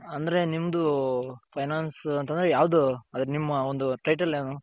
ಅಂದ್ರೆ ನಿಮ್ಮದು finance ಅಂತ ಅಂದ್ರೆ ಯಾವ್ದು ಅದರ ನಿಮ್ಮ ಒಂದು title ಏನು .